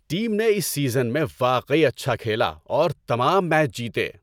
Team نے اس season میں واقعی اچھا کھیلا اور تمام میچ جیتے۔